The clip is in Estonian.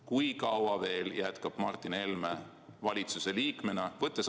Kui kaua veel jätkab Martin Helme valitsuse liikmena?